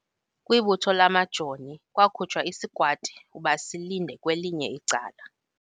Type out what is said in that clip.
Kwibutho lamajoni kwakhutshwa isikwati ukuba silinde kwelinye icala.